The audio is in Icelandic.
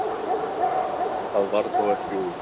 Það varð þó ekki úr.